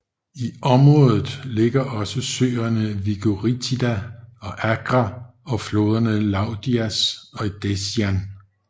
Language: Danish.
I området ligger også søerne Vegoritida og Agra og floderne Loudias og Edessian